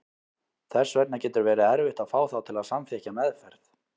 Þess vegna getur verið erfitt að fá þá til að samþykkja meðferð.